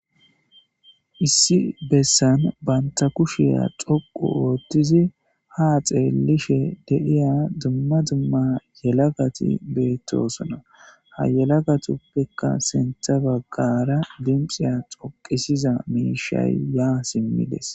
Issi Bessan Banta Kushiya Dhoqu Oththidi Ha Xeelishe De'aya Dumma Dumma Yelagati Betosona Ha Yelagatuppekka Sinththa Bagara Dimixiyan Dhoqisizay Mishshay ya Simidi